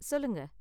சொல்லுங்க